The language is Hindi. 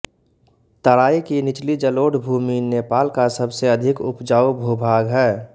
तराई की निचली जलोढ़ भूमि नेपाल का सबसे अधिक उपजाऊ भूभाग है